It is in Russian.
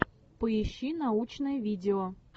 поищи научное видео